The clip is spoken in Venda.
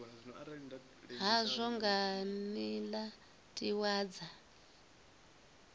hazwo nga nila tiwa dza